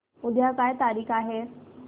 उद्या काय तारीख आहे